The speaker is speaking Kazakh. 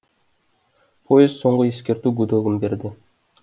поезд соңғы ескерту гудогын берді